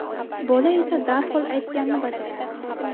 Bola esa darhol aytganni bajaradi.